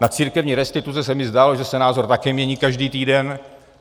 Na církevní restituce se mi zdálo, že se názor také mění každý týden.